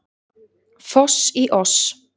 Foss í oss